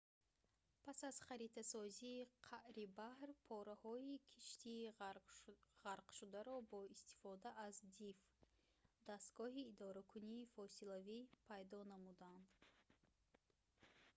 пас аз харитасозии қаъри баҳр пораҳои киштии ғарқшударо бо истифода аз диф дастгоҳи идоракунии фосилавӣ пайдо намуданд